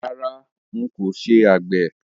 Rárá, ń ó kin ṣé àgbẹ̀